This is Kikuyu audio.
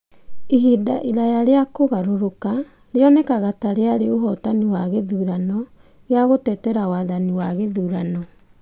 Ihinda iraya rĩa kũgarũrũka rĩonekaga ta rĩarĩ ũhootani wa gĩthurano gĩa gũtetera wathani wa gĩthurano.